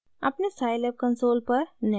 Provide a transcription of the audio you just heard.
अपने scilab console पर निम्न टाइप करें: